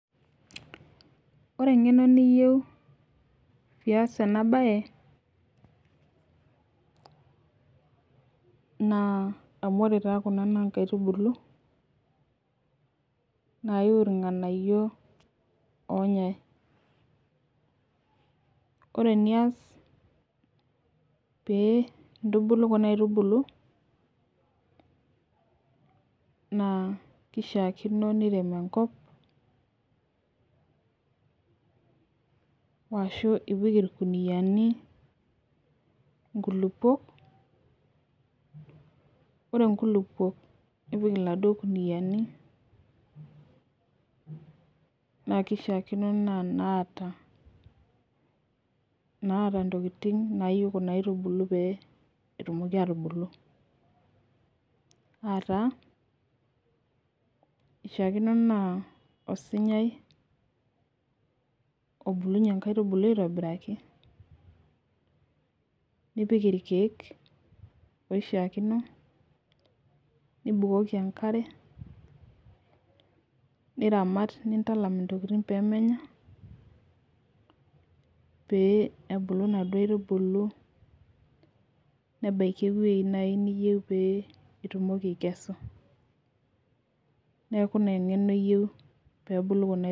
ore eng'eno niyieu pee iyas ena baye amu ore taa kuna naa inkaitubulu nayu ilng'anayio loo nyae ore eniyas pee intubulu kuna aitubulu, naa kishakino nirem enkop ashu ipik ilkuniyani inkulukuok, ore inkulukuok nipik iladuo kuniyani naa kishakino naa inaata intokitin nayieu kuna aitubulu, pee etumoki atubulu ataa, osinyai obulunyie ingaitubulu aitobiraki niramat nindalam intokitin pee menya, nebaki naaji eweji niyieu pee itumoki aikesu.